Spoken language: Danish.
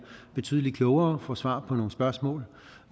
betydeligt klogere og svar på nogle spørgsmål